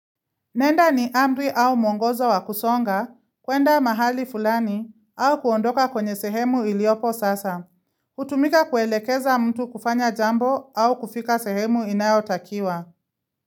Nenda ni amri au mwongozo wakusonga, kwenda mahali fulani, au kuondoka kwenye sehemu iliopo sasa. Hutumika kuelekeza mtu kufanya jambo au kufika sehemu inayotakiwa.